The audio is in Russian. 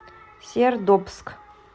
сердобск